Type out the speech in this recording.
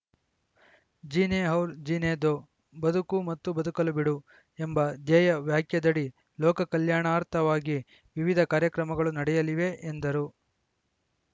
ಜೀನೇ ಔರ್‌ ಜೀನೇ ದೋ ಬದುಕು ಮತ್ತು ಬದುಕಲು ಬಿಡು ಎಂಬ ಧ್ಯೆಯ ವಾಕ್ಯದಡಿ ಲೋಕಕಲ್ಯಾಣಾರ್ಥವಾಗಿ ವಿವಿಧ ಕಾರ್ಯಕ್ರಮಗಳು ನಡೆಯಲಿವೆ ಎಂದರು